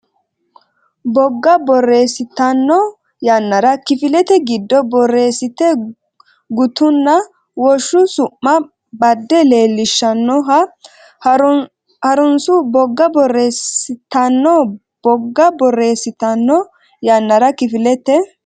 Bogga borreessitanno yannara kifilete giddo borreessite gutunna woshsho su ma badde leellishshannoha ha runsi Bogga borreessitanno Bogga borreessitanno yannara kifilete.